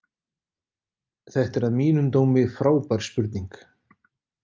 Þetta er að mínum dómi frábær spurning.